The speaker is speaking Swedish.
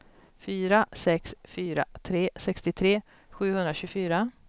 fyra sex fyra tre sextiotre sjuhundratjugofyra